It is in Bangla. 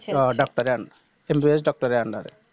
ডাক্তারের Un MBBS Doctor এর Under এ